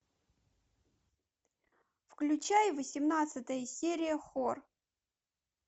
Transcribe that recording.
включай восемнадцатая серия хор